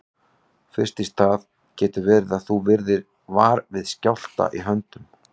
Fyrst í stað getur verið að þú verðir var við skjálfta í höndum.